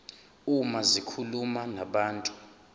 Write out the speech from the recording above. uma zikhuluma nabantu